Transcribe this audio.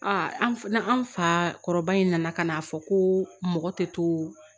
an fa kɔrɔba in nana ka n'a fɔ ko mɔgɔ tɛ to